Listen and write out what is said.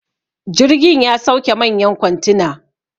jirgin ya sauke manyan kwantina